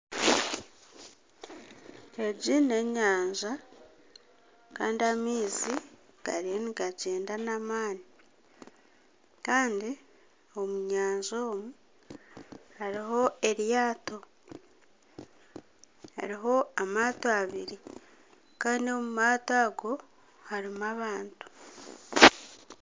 Egi n'enyanja kandi amaizi gariyo nigagyenda n'amani Kandi omu nyanja omu hariho eryato . Hariho amaato abiri Kandi omu maato ago harumu abantu.